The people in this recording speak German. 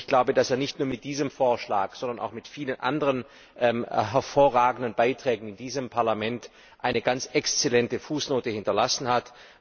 Ich glaube, dass er nicht nur mit diesem Vorschlag, sondern auch mit vielen anderen hervorragenden Beiträgen in diesem Parlament eine ganz exzellente Fußnote hinterlassen hat.